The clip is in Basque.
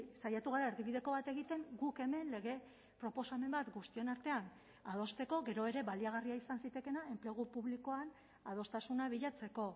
saiatu gara erdibideko bat egiten guk hemen lege proposamen bat guztion artean adosteko gero ere baliagarria izan zitekeena enplegu publikoan adostasuna bilatzeko